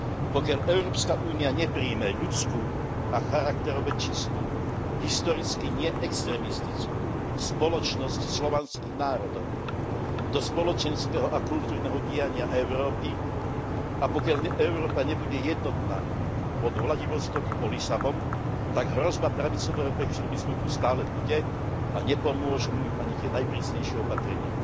Pokiaľ Európska únia neprijme ľudskú a charakterovo čistú, historicky neextrémistickú spoločnosť slovanských národov do spoločenského a kultúrneho diania Európy a pokiaľ Európa nebude jednotná od Vladivostoku po Lisabon, tak hrozba pravicového extrémizmu tu stále bude a nepomôžu mu ani tie najprísnejšie opatrenia.